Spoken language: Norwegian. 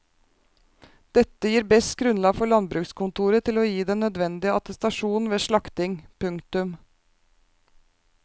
Dette gir best grunnlag for landbrukskontoret til å gi den nødvendige attestasjon ved slakting. punktum